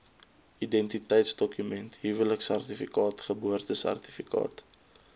identiteitsdokument huweliksertifikaat geboortesertifikaat